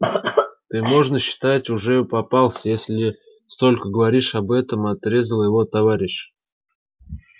ты можно считать уже попался если столько говоришь об этом отрезал его товарищ